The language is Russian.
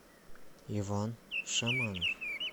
иван шаманов